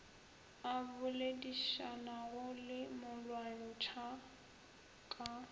a boledišanago le molwantšhwa ka